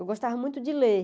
Eu gostava muito de ler.